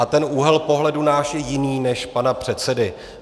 A ten úhel pohledu náš je jiný než pana předsedy.